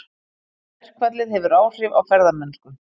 Verkfallið hefur áhrif á ferðamennsku